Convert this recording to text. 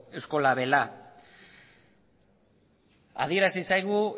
labela adierazi zaigu